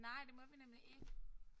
Nej det må vi nemlig ikke